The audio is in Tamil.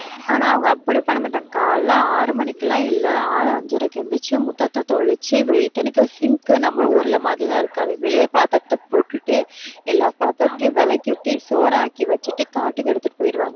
ஆனா, அவங்க அப்படி பண்ண மாட்டாங்க. காலையில ஆறு மணிக்கெல்லாம் இல்லை. ஆறு அஞ்சரைக்கு எந்திரிச்சு முத்தத்தை தெளிச்சு sink நம்ம ஊர்ல மாதிரி எல்லாம் இருக்காது, வெளியே பாத்திரத்தை போட்டுட்டு எல்லா பாத்திரத்தையும் விளக்கிட்டு, சோறாக்கி வச்சுட்டு காட்டுக்கு எடுத்துட்டு போயிடுவாங்க.